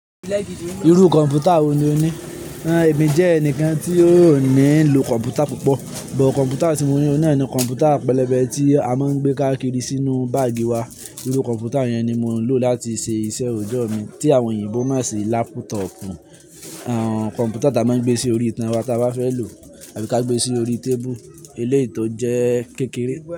Irú kọ̀m̀pútà wo ni o ní? Èmi jẹ́ ẹnìkan tí ó ní lo kọ̀m̀pútà púpọ̀, but kọ̀m̀pútà tí mo ní o nani kọ̀m̀pútà pẹlẹbẹ tí a máa ń gbé káàkiri sínú báàgì wa. Irú kọ̀m̀pútà yẹn ni mo ń lò láti ṣe iṣẹ́ òjọ́ mi tí àwọn òyìnbó máa ń ṣe lápútọ̀pù. Kọ̀m̀pútà tá a máa ń gbé sí orí itan wa tí a bá fẹ́ lò àbí ká gbé e sí orí tébùú, eléyìí tó jẹ́ kékeré.